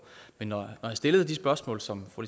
men når jeg stillede de spørgsmål som fru